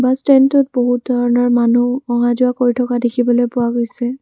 ষ্টেণ্ডটোত বহু ধৰণৰ মানুহ অহা যোৱা কৰি থকা দেখিবলৈ পোৱা গৈছে।